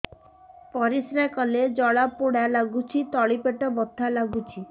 ପରିଶ୍ରା କଲେ ଜଳା ପୋଡା ଲାଗୁଚି ତଳି ପେଟ ବଥା ଲାଗୁଛି